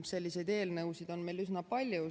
Selliseid eelnõusid on meil üsna palju.